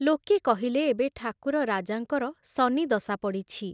ଲୋକେ କହିଲେ ଏବେ ଠାକୁର ରାଜାଙ୍କର ଶନିଦଶା ପଡ଼ିଛି।